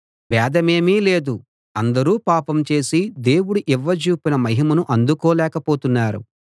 భేదమేమీ లేదు అందరూ పాపం చేసి దేవుడు ఇవ్వజూపిన మహిమను అందుకోలేక పోతున్నారు